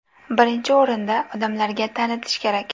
Birinchi o‘rinda odamlarga tanitish kerak.